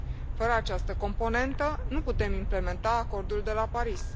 Fără această componentă nu putem implementa Acordul de la Paris.